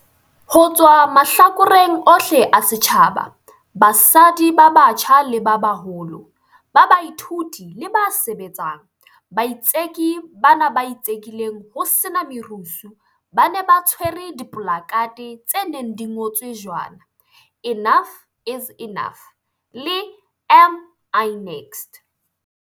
Ho tswa mahlakoreng ohle a setjhaba, basadi ba batjha le ba baholo, ba baithuti le ba sebetsang, baitseki bana ba itsekileng ho sena merusu ba ne ba tshwere dipolakhathe tse neng di ngotswe jwana 'Enough is Enough ' le 'Am I next?'.